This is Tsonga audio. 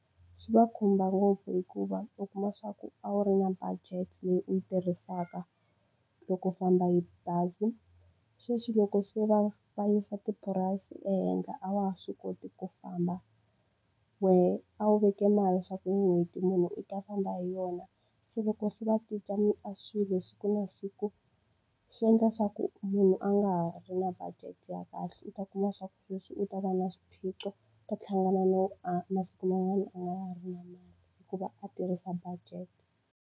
Swi va khumba ngopfu hikuva u kuma leswaku a wu ri na budget leyi u yi tirhisaka loko u famba hi bazi, sweswi loko se va va yisa tipurayisi ehenhla a wa ha swi koti ku famba. Wehe a wu veke mali leswaku n'hweti munhu u ta famba hi yona, se loko se va cinca a swilo siku na siku, swi endla leswaku munhu a nga ha ri na budget ya kahle. U ta kuma leswaku sweswi u ta va na swiphiqo, a hlangana no a masiku man'wana u nga ha ri na hikuva a tirhisa budget.